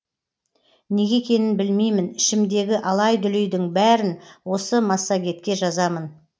неге екенін білмеймін ішімдегі алай дүлейдің бәрін осы массагетке жазамын